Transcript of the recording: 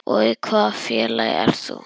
Og í hvaða félagi ert þú?